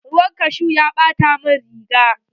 Ruwan kashu ya ɓata min riga.